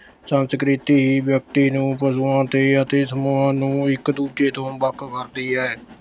ਸੰਸਕ੍ਰਿਤੀ ਹੀ ਵਿਅਕਤੀ ਨੂੰ ਪਸ਼ੂਆਂ ਦੇ ਅਤੇ ਸਮੂਹਾਂ ਨੂੰ ਇਕ ਦੂਜੇ ਤੋਂ ਵੱਖ ਕਰਦੀ ਹੈ।